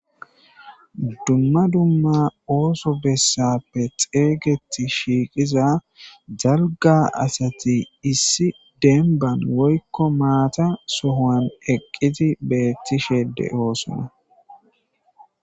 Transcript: Dumma dumma ooso bessappe xeeygeti shiiqiza jalga asati issi denban woykko maata sohoan eqqiti beettishede oosona.